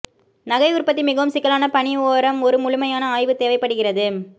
நகை உற்பத்தி மிகவும் சிக்கலான பணி ஓரம் ஒரு முழுமையான ஆய்வு தேவைப்படுகிறது